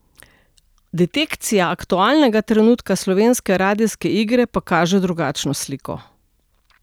Detekcija aktualnega trenutka slovenske radijske igre pa kaže drugačno sliko.